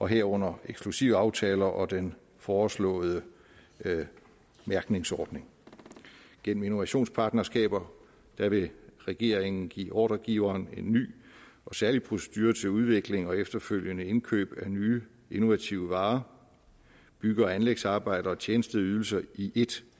herunder eksklusivaftale og den foreslåede mærkningsordning gennem innovationspartnerskaber vil regeringen give ordregiveren en ny og særlig procedure til udvikling og efterfølgende indkøb af nye innovative varer bygge og anlægsarbejder og tjenesteydelser i ét